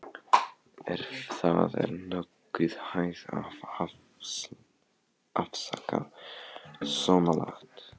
Ef það er nokkuð hægt að afsaka svonalagað.